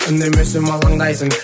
үндемесем алаңдайсың